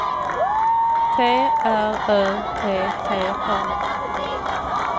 T R Ö T T A